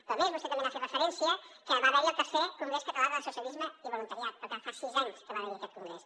però a més vostè també ha fet referència que va haver hi el tercer congrés català de l’associacionisme i el voluntariat però que fa sis anys que va haver hi aquest congrés